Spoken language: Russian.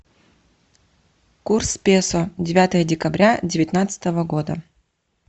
курс песо девятое декабря девятнадцатого года